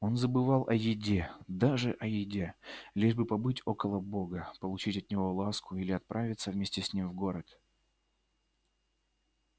он забывал о еде даже о еде лишь бы побыть около бога получить от него ласку или отправиться вместе с ним в город